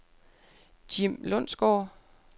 Jim Lundsgaard